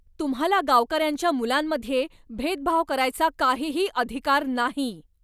तुम्हाला गावकऱ्यांच्या मुलांमध्ये भेदभाव करायचा काहीही अधिकार नाही,